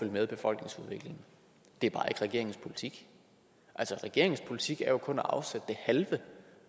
med befolkningsudviklingen det er bare ikke regeringens politik altså regeringens politik er jo kun at afsætte det halve